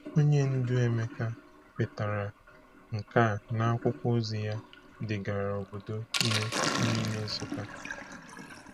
Onye ndu Emeka kwetara nke a n’akwụkwọ ozi ya degara obodo nú n'ime Nsukka.